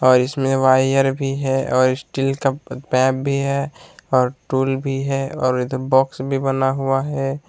और इसमें वायर भी है और स्टील का पाइप भी है और टूल भी है और इधर बॉक्स भी बना हुआ है।